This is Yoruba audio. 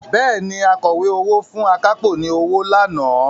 Bẹ́ẹ̀ni, Akọ̀wé owó fún akápò ní owó lánàá